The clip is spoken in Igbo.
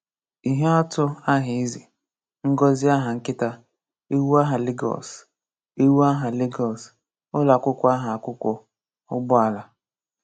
Íhè àtụ Aha Ézè, Ngọ́zị Aha Nkítá, Éwù Aha Lagos, Éwù Aha Lagos, Ùlọakwụkwọ Aha Akwụkwọ, Ụgbọ̀ala.